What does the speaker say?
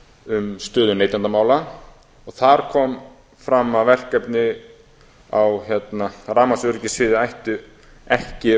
um stöðu neytendamála og þar kom fram að verkefni á rafmagnsöryggissviði ættu ekki að